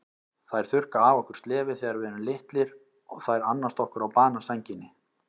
Þær þurrka af okkur slefið þegar við erum litlir og þær annast okkur á banasænginni.